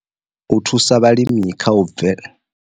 U thusa vhalimi kha u bve.